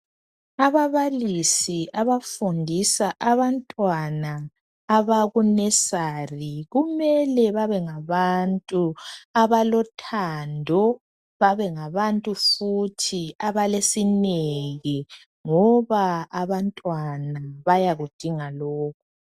Ababalisi abafundisa abantwana abaku nesari kumele babe ngabantu abalothando, babe ngabantu futhi abalesineke ngoba abantwana bayakudinga lokhu.